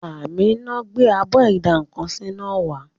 Àmíná gbé abọ́ ìdá-nǹkan-sí náà wá